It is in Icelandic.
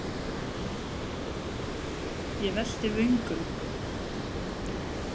Ég velti vöngum.